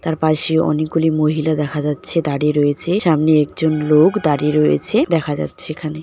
তার পাশেও অনেকগুলি মহিলা দেখা যাচ্ছে দাঁড়িয়ে রয়েছে সামনে একজন লোক দাঁড়িয়ে রয়েছে দেখা যাচ্ছে এখানে ।